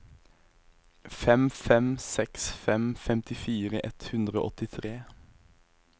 fem fem seks fem femtifire ett hundre og åttitre